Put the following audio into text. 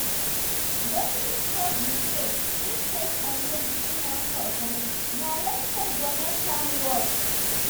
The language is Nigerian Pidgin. wetin sup be say if faith and medicine wan cooperate na respect go make am work